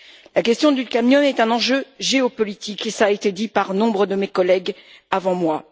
La question du cadmium est un enjeu géopolitique et cela a été dit par nombre de mes collègues avant moi.